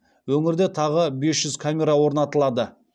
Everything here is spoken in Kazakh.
өңірде тағы бес жүз камера орнатылады